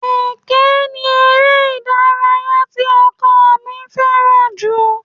Ẹkẹ ni eré ìdárayá tí ọkọ mi fẹ́ràn jù